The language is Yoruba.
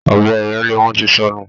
Ọbẹ ìrélé wọn ti sọnù